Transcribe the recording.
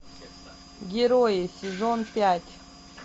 герои сезон пять